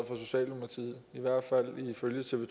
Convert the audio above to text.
fra socialdemokratiet i hvert fald ifølge tv